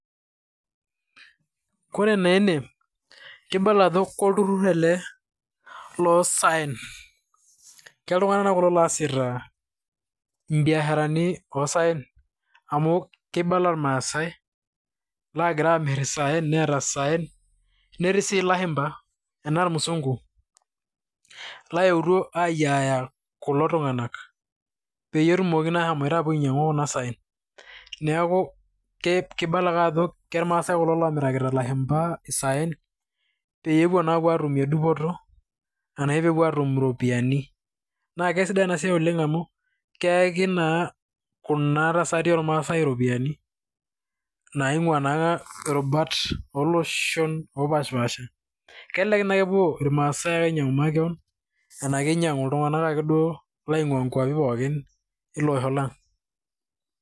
Kore naa ene, kibala ajo olturur ele loo saen. Keltung'ana kulo oasita ibiasharani osaen amu kibala irmasae lagira aamir isaen, neeta isaen, neeti sii lashumba anaa irmusungu loyutuo aiyiaya kulo tung'ak, peyie etumoki ashom ainyang'utu kulo saen neeku kibala ake ajo irmasae kulo lamirakita ilashumba isaen, peepuo na apuo atumir dupoto arashu peepuo atum iropiaani. Naa kisidai ena siai oleng amu keyaki naa kuna tasati ormasae iropiani, naing'ua naairubat oloshon opash pasha. Kelelek naa epuo irmasae aingang'u makeon anaa kinyang' ltung'anak ake duo laingua nkuapi pooki ele oshi lang'.